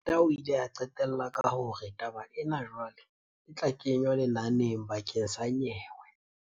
Peta o ile a qetella ka hore, "Taba ena jwale e tla kenywa lenaneng bakeng sa nyewe."